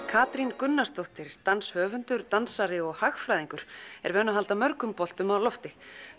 Katrín Gunnarsdóttir danshöfundur dansari og hagfræðingur er vön að halda mörgum boltum á lofti